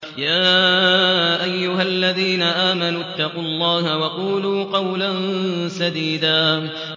يَا أَيُّهَا الَّذِينَ آمَنُوا اتَّقُوا اللَّهَ وَقُولُوا قَوْلًا سَدِيدًا